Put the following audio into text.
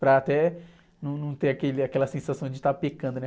Para até não ter aquele, aquela sensação de estar pecando, né?